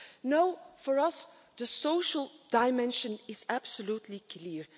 No, for us the social dimension is absolutely clear.